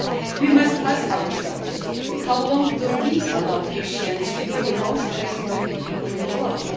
We must ask ourselves, how long will we allow Christians to be the most persecuted people in the world?